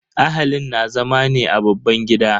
Ahalin na zama ne a babban gida.